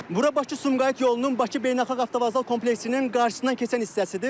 Bura Bakı-Sumqayıt yolunun, Bakı Beynəlxalq Avtovağzal kompleksinin qarşısından keçən hissəsidir.